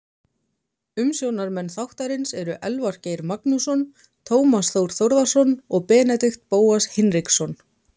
Umsjónarmenn þáttarins eru Elvar Geir Magnússon, Tómas Þór Þórðarson og Benedikt Bóas Hinriksson.